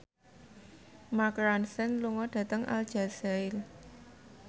Mark Ronson lunga dhateng Aljazair